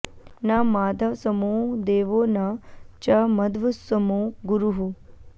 न माधवसमो देवो न च मध्व समो गुरुः